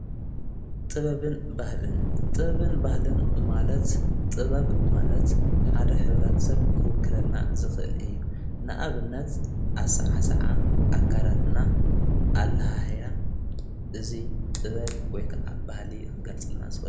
ጥበብን ባህልን ጥበብን ባህልን ማለት ጥበብ ማለት ሓደ ኅብረተሰብ ክውክለልና ዝኽእል እዩ ንኣብነት ኣሠዓሰዓ ኣካዳትና ኣለሓህያ እዙይ ጥበብ ወይ ከዓ ባህሊ ኽገልጽልና እዩ፡፡